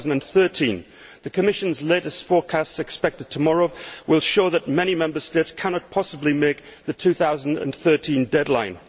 2013. The Commission's latest forecasts, expected tomorrow, will show that many Member States cannot possibly make the 2013 deadline.